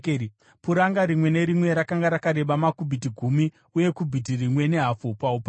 Puranga rimwe nerimwe rakanga rakareba makubhiti gumi uye kubhiti rimwe nehafu paupamhi,